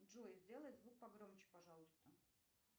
джой сделай звук погромче пожалуйста